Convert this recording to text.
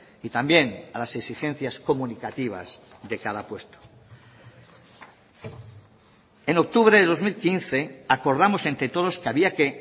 y también a las exigencias comunicativas de cada puesto en octubre de dos mil quince acordamos entre todos que había que